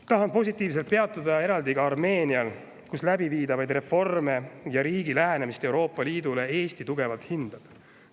Tahan positiivselt peatuda eraldi ka Armeenial, kelle läbiviidavaid reforme ja lähenemist Euroopa Liidule Eesti tugevalt hindab.